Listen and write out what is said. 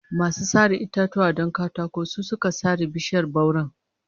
Masu sare itatuwa don katako su suka sare bishiyar bauren